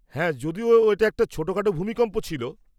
হ্যাঁ, যদিও এটা একটা ছোটোখাটো ভূমিকম্প ছিল।